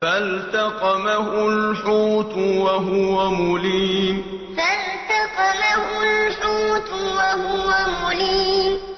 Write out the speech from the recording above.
فَالْتَقَمَهُ الْحُوتُ وَهُوَ مُلِيمٌ فَالْتَقَمَهُ الْحُوتُ وَهُوَ مُلِيمٌ